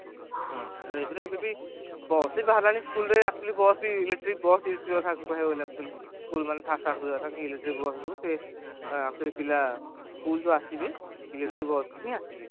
ହୁଁ ଏଗୁରା ଏବେବି bus ବି ବାହାରିଲାଣି school ରୁ ଆସିକି bus ବି electric bus ବି use କରିବା କଥା ହେଇଗଲା school ମାନେ electric bus ଯୋଉ ସେ actually ପିଲା school ଯୋଉ ଆସିବେ electric bus ରେ ହିଁ ଆସିବେ